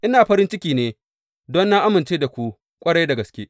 Ina farin ciki ne don na amince da ku ƙwarai da gaske.